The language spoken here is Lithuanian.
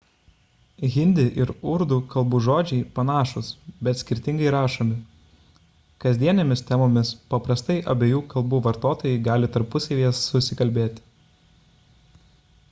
hindi ir urdų kalbų žodžiai panašūs bet skirtingai rašomi kasdienėmis temomis paprastai abiejų kalbų vartotojai gali tarpusavyje susikalbėti